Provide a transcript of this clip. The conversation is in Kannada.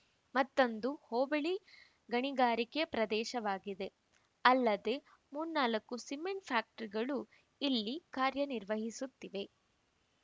ಮತ್ತೊಂದು ಹೋಬಳಿ ಗಣಿಗಾರಿಕೆ ಪ್ರದೇಶವಾಗಿದೆ ಅಲ್ಲದೆ ಮೂರ್ನಾಲ್ಕು ಸಿಮೆಂಟ್‌ ಫ್ಯಾಕ್ಟರಿಗಳು ಇಲ್ಲಿ ಕಾರ್ಯನಿರ್ವಹಿಸುತ್ತಿವೆ